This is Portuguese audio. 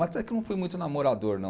Mas até que eu não fui muito namorador, não.